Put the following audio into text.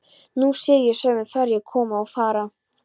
Nú sé ég sömu ferju koma og fara.